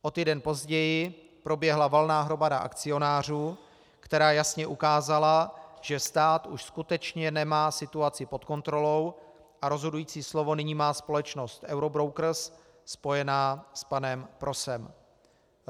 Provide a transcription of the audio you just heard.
O týden později proběhla valná hromada akcionářů, která jasně ukázala, že stát už skutečně nemá situaci pod kontrolou a rozhodující slovo nyní má společnost Eurobrokers spojená s panem Prosem.